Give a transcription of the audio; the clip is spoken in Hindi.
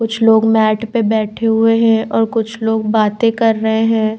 कुछ लोग मैट पर बैठे हुए हैं और कुछ लोग बातें कर रहे हैं।